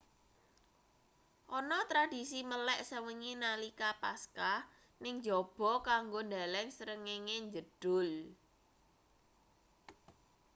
ana tradisi melek sewengi nalika paskah ning njaba kanggo ndeleng srengenge njedhul